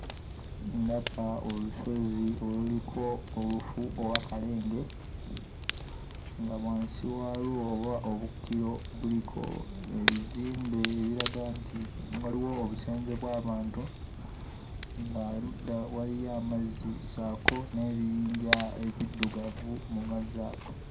Ndaba olusozi oluliko olufu oba kalenge, nga wansi waalwo oba obukkiro buliko ebizimbe ebiraga nti waliwo obusenze bw'abantu, ng'erudda waliyo amazzi ssaako n'ebiyinja ebiddugavu mu mazzi ago.